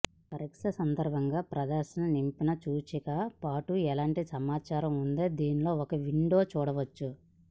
పరీక్ష సందర్భంగా ప్రదర్శన నింపి సూచిక పాటు ఎలాంటి సమాచారం ఉంది దీనిలో ఒక విండో చూడవచ్చు